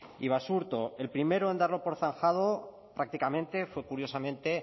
y basurto el primero en darlo por zanjado prácticamente fue curiosamente